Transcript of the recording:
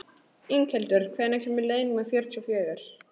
Inghildur, hvenær kemur leið númer fjörutíu og fjögur?